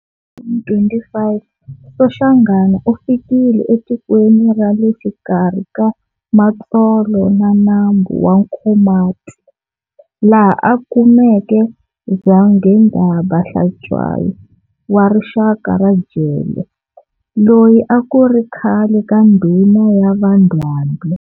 1825, Soshanghana ufikile etikweni rale xikarhi ka Matsolo na nambu wa Nkomati, laha akumeke Zwangendaba Hlatswayo wa rixaka ra Jele, loyi akuri khale ka ndhuna ya va Ndwandwe.